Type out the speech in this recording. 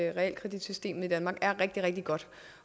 at realkreditsystemet i danmark er rigtig rigtig godt